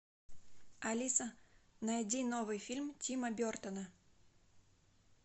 алиса найди новый фильм тима бертона